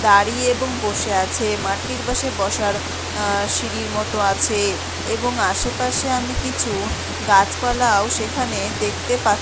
দাঁড়িয়ে এবং বসে আছে মাটির পাশে বসার আসিঁড়ির মতো আছে-- এবং আশেপাশে আমি কিছু গাছপালা ও সেখানেও দেখতে পাত--